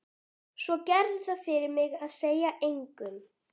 Svo gerðu það fyrir mig að segja engum.